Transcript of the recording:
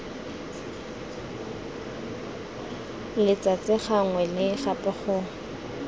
letsatsi gangwe le gape go